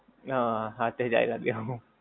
હા સાથે જ ચાલ્યા ગયા.